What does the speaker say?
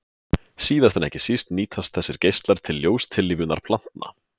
Síðast en ekki síst nýtast þessir geislar til ljóstillífunar plantna.